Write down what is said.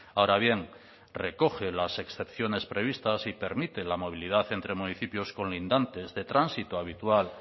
ahora bien recoge las excepciones previstas y permite la movilidad entre municipios colindantes de tránsito habitual